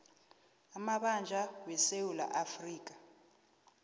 amabanjwa wesewula afrika